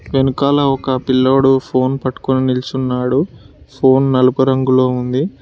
వెనకాల ఒక పిల్లోడు ఫోన్ పట్టుకొని నిలిచి ఉన్నాడు ఫోన్ నలుపు రంగులో ఉంది.